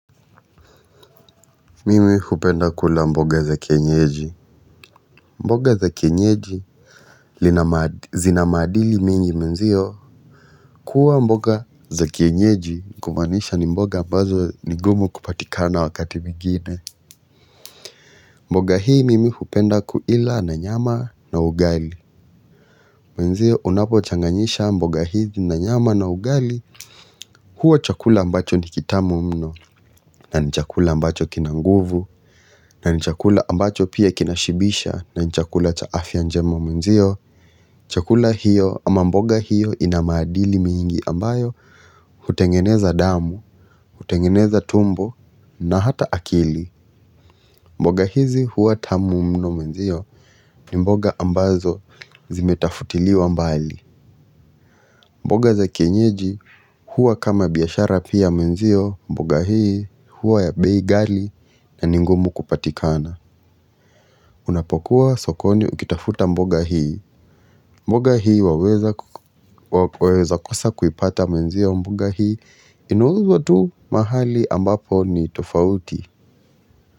Mimi hupenda kula mboga za kienyeji. Mboga za kienyeji zinamaadili mingi mwenzio kuwa mboga za kienyeji. Kumaanisha ni mboga ambazo nigumu kupatika na wakati mingine. Mboga hii mimi hupenda kuila na nyama na ugali mwenzio unapochanganisha mboga hizi na nyama na ugali. Huwa chakula ambacho ni kitamu mno. Na ni chakula ambacho kinanguvu. Na ni chakula ambacho pia kinashibisha. Na ni chakula cha afya njema mwenzio. Chakula hiyo ama mboga hiyo ina maadili mingi ambayo hutengeneza damu, hutengeneza tumbo na hata akili. Mboga hizi huwa tamu mno mwenzio. Ni mboga ambazo zimetafutiliwa mbali. Mboga za kienyeji huwa kama biashara pia mwenzio. Mboga hii huwa ya bei ghali na ningumu kupatikana. Unapokuwa sokoni ukitafuta mboga hii mboga hii waweza kosa kuipata mwenzio mboga hii inauzwa tu mahali ambapo ni tofauti.